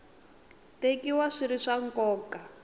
tekiwa swi ri swa nkoka